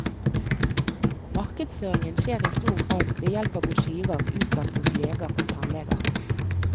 Markedsføringen skjer i stor grad ved hjelp av brosjyrer utlagt hos leger og tannleger.